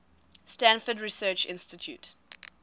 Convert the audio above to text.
stanford research institute